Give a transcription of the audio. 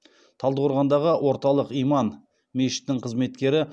талдықорғандағы орталық иман мешітінің қызметкері